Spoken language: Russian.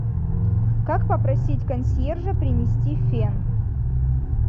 как попросить консьержа принести фен